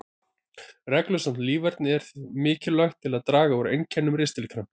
Reglusamt líferni er mikilvægt til að draga úr einkennum ristilkrampa.